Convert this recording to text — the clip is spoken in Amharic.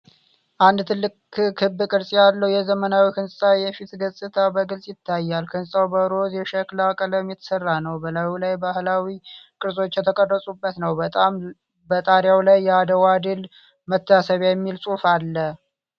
አንድ ትልቅ ክብ ቅርጽ ያለው የዘመናዊ ሕንጻ የፊት ገጽታ በግልጽ ይታያል። ሕንጻው በሮዝ የሸክላ ቀለም የተሠራ ነው፣ በላዩ ላይ ባህላዊ ቅርጾች የተቀረጹበት ነው። በጣሪያው ላይ "የአድዋ ድል መታሰቢያ" የሚል ጽሑፍ አለ።